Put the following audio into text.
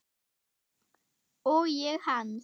Og ég hans.